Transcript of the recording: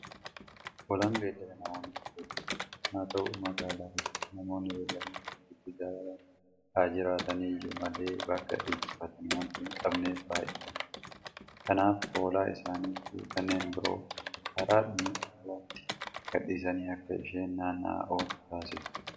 Hoolaan beellada namoonni itti fayyadamanidha. Haata'u magaalaa keessatti namoonni beelladoota horsiisuu jaalatan haajiraataniyyuu malee bakka dheechifatan waanta hinqabneef baay'ee rakkatu. Kanaaf Hoolaa isaaniifi kanneen biroo karaadhuma irratti gadhiisanii akka isheen naanna'aa ooltu taasisu.